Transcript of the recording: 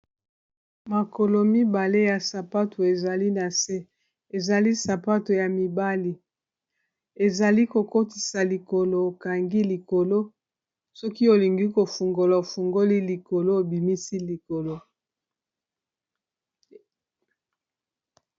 makolo mibale ya sapato ezali na se ezali sapato ya mibali ezali kokotisa likolo okangi likolo soki olingi kofungola ofungoli likolo obimisi likolo